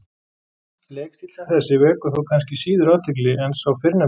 Leikstíll sem þessi vekur þó kannski síður athygli en sá fyrrnefndi.